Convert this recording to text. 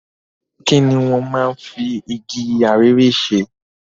Kini wọ́n máa ń fi igi arère ṣe?